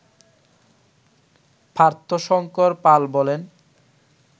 পার্থশঙ্কর পাল বলেন